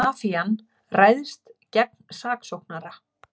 Mafían ræðst gegn saksóknara